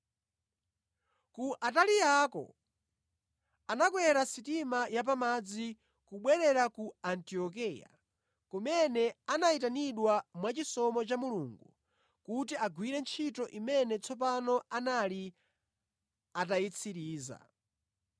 Ku Ataliyako, anakwera sitima ya pamadzi kubwerera ku Antiokeya kumene anayitanidwa mwachisomo cha Mulungu kuti agwire ntchito imene tsopano anali atayitsiriza.